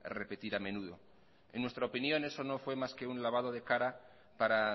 repetir a menudo en nuestra opinión eso no fue más que un lavado para